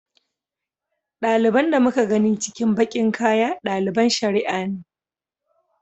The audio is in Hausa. Ɗaliban da muka gani cikin baƙin kaya ɗaliban shari'a ne.